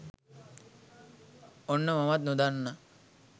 ඔන්න මමත් නොදන්න